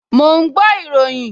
Mò ń gbọ́ ìròyìn